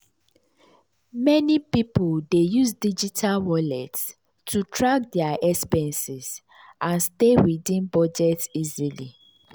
meni pipul dey use digital wallets to track dia expenses and stay within budget easily.